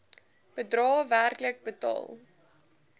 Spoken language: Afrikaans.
bedrae werklik betaal